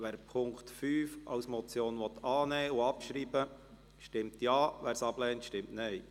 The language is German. Wer den Punkt 5 als Motion annehmen und abschreiben will, stimmt Ja, wer dies ablehnt, stimmt Nein.